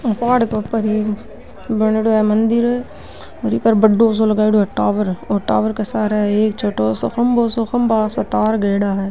ओ पहाड़ के ऊपर एक बनेडो है मंदिर और ई पर बड़ो सा लगाईडो है टावर और टावर के सार एक छोटा सा खम्भों सा तार गयेड़ा है।